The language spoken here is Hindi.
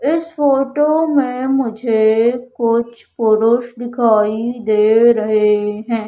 इस फोटो में मुझे कुछ पुरुष दिखाई दे रहे हैं।